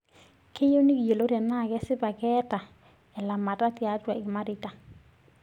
Kiyieu nikiyiolou tenaa kesipa keeta elamata tiatua ilmareita.